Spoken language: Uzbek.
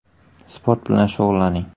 Sport bilan shug‘ullaning.